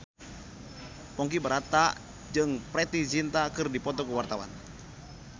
Ponky Brata jeung Preity Zinta keur dipoto ku wartawan